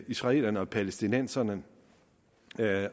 israelerne og palæstinenserne